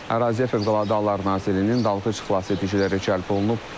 Əraziyə Fövqəladə Hallar Nazirliyinin dalğıc xilasediciləri cəlb olunub.